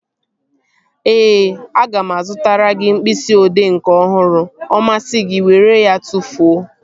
Ee, aga m azụtara gị mkpịsị odee nke ọhụrụ. Ọ masị gị were ya tụfuo